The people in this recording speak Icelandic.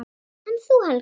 En þú, Helga mín?